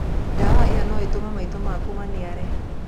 Ndawa ĩyo no ĩtũme maitho maku maniare.